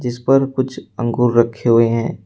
इस पर कुछ अंगूर रखे हुए हैं।